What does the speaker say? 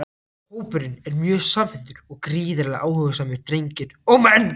Hópurinn er mjög samhentur og gríðarlega áhugasamir drengir og menn!